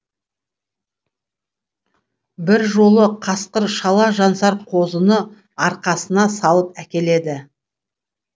бір жолы қасқыр шала жансар қозыны арқасына салып әкеледі